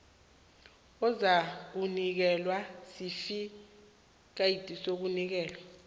uzakunikelwa isitifikhethi sokunikelwa